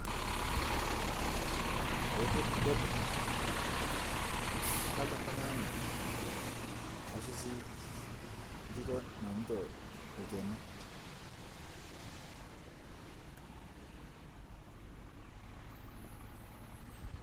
ee kedede kadolitaa nashuu sii ntitoo naunutoo lkenii.